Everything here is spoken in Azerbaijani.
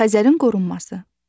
Xəzərin qorunması.